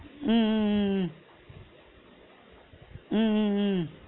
உம் உம் உம் உம் உம் உம் உம்